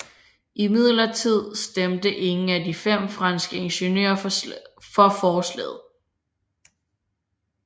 Imidlertid stemte ingen af de fem franske ingeniører for forslaget